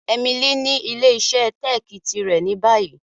Emily ni ile-iṣẹ teeki tirẹ ni bayi.